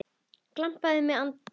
Gamblað er með landið.